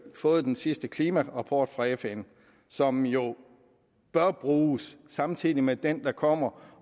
fået den sidste klimarapport fra fn som jo bør bruges samtidig med den der kommer